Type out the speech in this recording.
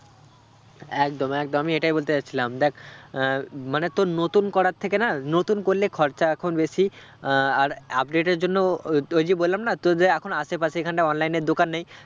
একদম একদম আমি এটাই বলতে যাচ্ছিলাম দেখ মানে আহ মানে তোর নতুন করার থেকে না নতুন করলে খরচা এখন বেশি আহ আর update এর জন্য ও তো ওই যে বললাম না তোদের এখন আশেপাশে এখানটা online র দোকান নেই